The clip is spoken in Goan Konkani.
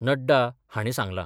नड्डा हाणी सांगला.